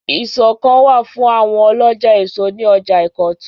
Ìsọ̀ kan wà fún àwọn ọlọ́jà èso ní ọjà Ìkọ̀tún.